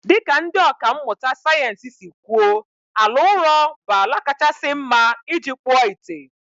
Dị ka ndị ọkà mmụta sayensị si kwuo, ala ụrọ bụ ala kachasị mma iji kpụọ ite